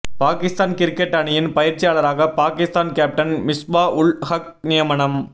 Pakistan cricket அணியின் பயிற்சியாளராக Pakistan captain Misbah ul Haq நியமனம்